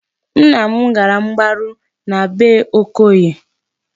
Nna m gara mgbaru na bee Okoye.